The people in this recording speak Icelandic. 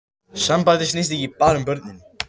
Sambandið snýst ekki bara um börnin